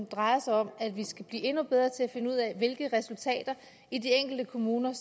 drejer sig om at vi skal blive endnu bedre til at finde ud af hvilke resultater i de enkelte kommuner